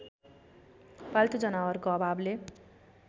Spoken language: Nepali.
पाल्तु जनावरको अभावले